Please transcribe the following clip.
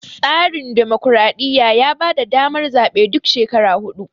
tsarin dimokradiyya ya bada damar zabe duk shekara hudu